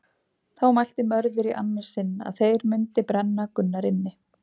Þá mælti Mörður í annað sinn að þeir mundi brenna Gunnar inni.